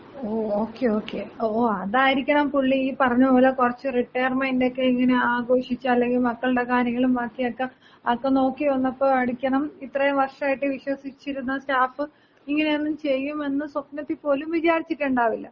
ഓ okay okay. ഓ അതായിരിക്കണം പുള്ളി ഈ പറഞ്ഞ പോലെ കുറച്ച് റിട്ടയർമെന്‍റൊക്ക ഇങ്ങനെ ആഘോഷിച്ച്, അല്ലെങ്കി മക്കളുടെ കാര്യങ്ങളും ബാക്കിയൊക്ക അക്ക നോക്കി വന്നപ്പോ ആയിരിക്കണം ഇത്രയും വർഷായിട്ട് വിശ്വസിച്ചിരുന്ന സ്റ്റാഫ് ഇങ്ങനെയൊന്നും ചെയ്യുമെന്ന് സ്വപ്നത്തി പോലും വിചാരിച്ചിട്ടുണ്ടാവില്ല.